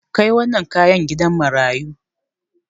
Kai wannan kayan gidan marayu.